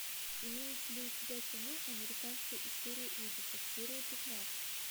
имеется ли у тебя кино американская история ужасов серия пятнадцать